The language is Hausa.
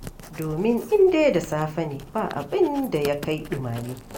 Domin in dai da safe ne, ba abin da ya kai ɗumame.